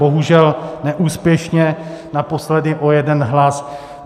Bohužel neúspěšně, naposledy o jeden hlas.